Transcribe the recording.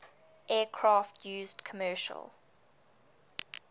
aircraft used commercial